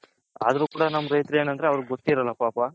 ಅದ್ರು ಕೂಡ ನಮ್ಮ ರೈತ್ಹರ್ ಏನಂದ್ರೆ ಅವರಿಗೆ ಗೊತಿರಲ್ಲ ಪಾಪ